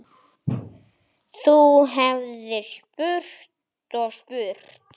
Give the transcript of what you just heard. Þú hefðir spurt og spurt.